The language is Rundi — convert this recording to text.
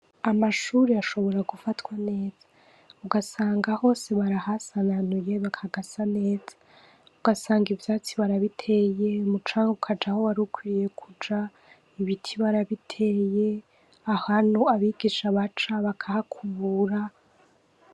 Amashuri ashobora gufatwa neza ugasanga hose barahasananuye hagasa neza ugasanga ivyatsi barabiteye umucanga ukaja aho warukwiye kuja ibiti barabiteye ahantu abigisha baca bakahakubura.